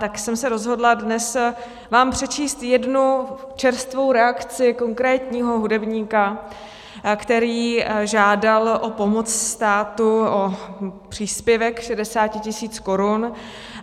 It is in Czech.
Tak jsem se rozhodla dnes vám přečíst jednu čerstvou reakci konkrétního hudebníka, který žádal o pomoc státu, o příspěvek 60 tisíc korun.